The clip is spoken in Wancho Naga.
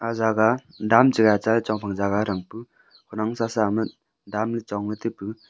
jagah dam che gai cha chong phang jagah thang pu khawnaknu sasa ama dam le chong ley taipu.